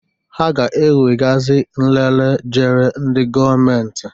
Ha ga-ewe gasi nlele jere ndị gọọmentị.